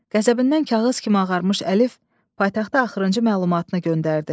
Qəzəbindən kağız kimi ağarmış Əlif paytaxta axırıncı məlumatını göndərdi.